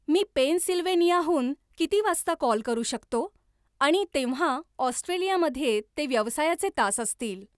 मी पेनसिल्व्हेनियाहून किती वाजता कॉल करू शकतो आणि तेव्हा ऑस्ट्रेलियामध्ये ते व्यवसायाचे तास असतील